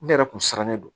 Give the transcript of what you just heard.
Ne yɛrɛ kun sirannen don